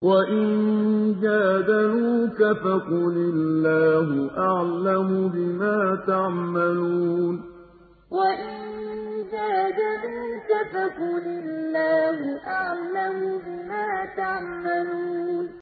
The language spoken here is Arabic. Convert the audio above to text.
وَإِن جَادَلُوكَ فَقُلِ اللَّهُ أَعْلَمُ بِمَا تَعْمَلُونَ وَإِن جَادَلُوكَ فَقُلِ اللَّهُ أَعْلَمُ بِمَا تَعْمَلُونَ